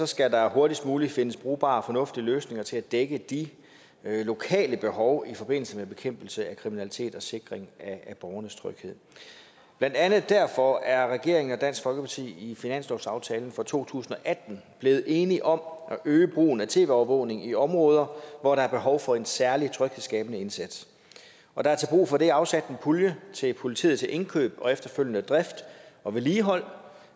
skal der hurtigst muligt findes brugbare og fornuftige løsninger til at dække de lokale behov i forbindelse med bekæmpelse af kriminalitet og sikring af borgernes tryghed blandt andet derfor er regeringen og dansk folkeparti i finanslovsaftalen for to tusind og atten blevet enige om at øge brugen af tv overvågning i områder hvor der er behov for en særlig tryghedsskabende indsats og der er til brug for det afsat en pulje til politiet til indkøb og efterfølgende drift og vedligehold